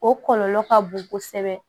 O kɔlɔlɔ ka bon kosɛbɛ